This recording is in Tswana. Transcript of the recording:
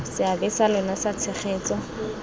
seabe sa lona sa tshegetso